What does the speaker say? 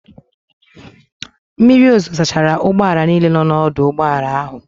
Mmiri ozuzo sachara ụgbọala niile nọ n'ọdụ ụgbọala ahụ.